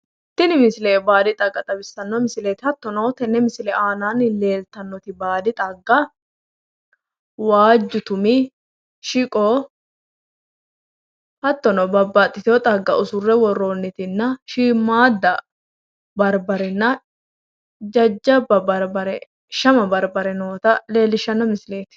Tini misile baadi xagga xawissano misileeti hattono tenne misile aannaanni leeltannoti baadi xagga waajju tumi, dhiqo hattono babbaxiteyo xagga usurre woroonnitinna shiimmaadda barbarenna jajjabba barbare shama barbare noota leellishshanno misileeti.